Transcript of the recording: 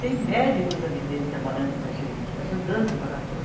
Tem médicos ali dentro trabalhando com a gente, ajudando em barracão.